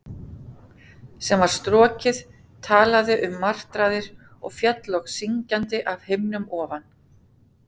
sem var strokið, talaði um martraðir, og féll loks syngjandi af himni ofan?